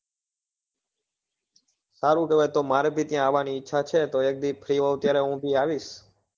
સારું કેવાય તો મારે બી ત્યાં આવવા ની ઈચ્છા છે તો એક દી free હોવ ત્યારે હું બી આવીશ